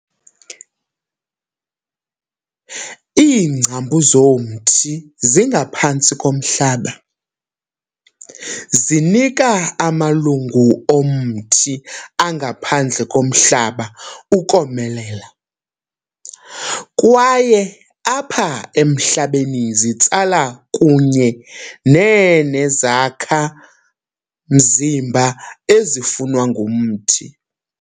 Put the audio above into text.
Iingcambu zomthi zingaphantsi komhlaba, zinika amalungu omthi angaphandle komhlaba ukomelela, kwaye apha emhlabeni zitsala kunye neenezakha mzimba ezifunwa ngumthi.